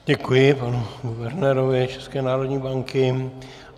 Děkuji panu guvernérovi České národní banky.